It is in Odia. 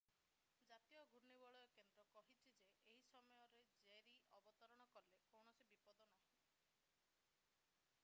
ଜାତୀୟ ଘୂର୍ଣ୍ଣିବଳୟ କେନ୍ଦ୍ର nhc କହିଛି ଯେ ଏହି ସମୟରେ ଜେରୀ ଅବତରଣ କଲେ କୌଣସି ବିପଦ ନାହିଁ।